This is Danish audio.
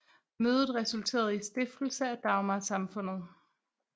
Mødet resulterede i stiftelse af Dagmarsamfundet